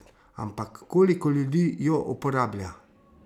Ampak, koliko ljudi jo uporablja?